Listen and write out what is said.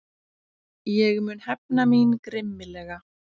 Ég mun hefna mín grimmilega.